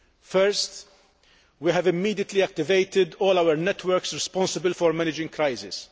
First, we have immediately activated all our networks responsible for managing crises.